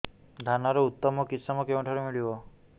ଧାନର ଉତ୍ତମ କିଶମ କେଉଁଠାରୁ ମିଳିବ